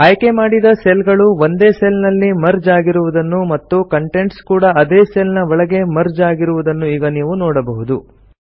ಆಯ್ಕೆಮಾಡಿದ ಸೆಲ್ಸ್ ಗಳು ಒಂದೇ ಸೆಲ್ ನಲ್ಲಿ ಮರ್ಜ್ ಆಗಿರುದನ್ನು ಮತ್ತು ಕಂಟೆಂಟ್ಸ್ ಕೂಡ ಅದೇ ಸೆಲ್ ನ ಒಳಗೆ ಮರ್ಜ್ ಆಗಿರುದನ್ನು ಈಗ ನೀವು ನೋಡಬಹುದು